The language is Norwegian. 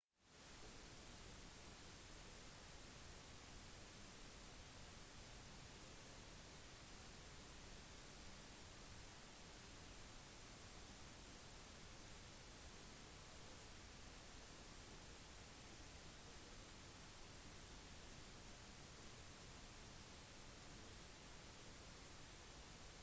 roberts nektet rett ut å uttale seg om når han tror livet begynner noe som er et viktig spørsmål med hensyn til etikken rundt abort og han sier at det ville ikke være etisk riktig å kommentere detaljer i slike tilfeller